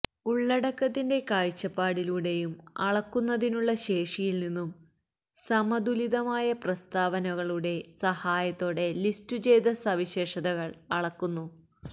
ഉള്ളടക്കത്തിന്റെ കാഴ്ചപ്പാടിലൂടെയും അളക്കുന്നതിനുള്ള ശേഷിയിൽ നിന്നും സമതുലിതമായ പ്രസ്താവനകളുടെ സഹായത്തോടെ ലിസ്റ്റുചെയ്ത സവിശേഷതകൾ അളക്കുന്നു